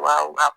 Wa